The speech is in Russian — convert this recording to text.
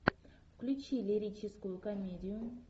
включи лирическую комедию